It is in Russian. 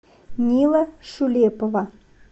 мила шулепова